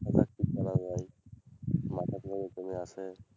মাথার মাধ্যমে চলে আসে,